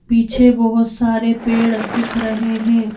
पीछे बहोत सारे पेड़ दिख रहे हैं।